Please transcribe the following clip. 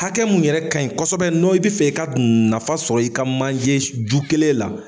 Hakɛ mun yɛrɛ ka ɲi kosɛbɛ n'o i bi fɛ i ka nafa sɔrɔ i ka manjeju kelen la.